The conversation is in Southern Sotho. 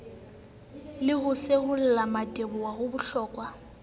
le ho seholla mmateboho habohloko